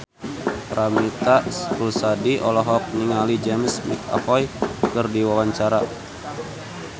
Paramitha Rusady olohok ningali James McAvoy keur diwawancara